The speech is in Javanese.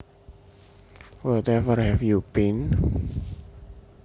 Wherever have you been